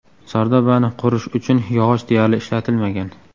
Sardobani qurish uchun yog‘och deyarli ishlatilmagan.